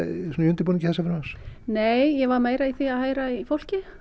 við undirbúning þessa frumvarps nei ég var meira í því að heyra í fólki